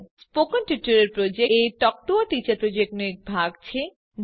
spoken tutorial project એ talk to a teacher પ્રોજેક્ટનો એક ભાગ છે